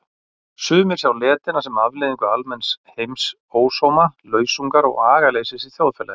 Sumir sjá letina sem afleiðingu almenns heimsósóma, lausungar og agaleysis í þjóðfélaginu.